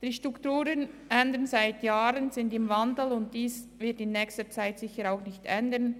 Die Strukturen sind seit Jahren im Wandel, und dies wird sich in nächster Zeit sicher nicht ändern.